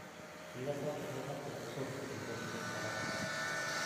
Kigotok togetap chepyosok kisir kenyishek alak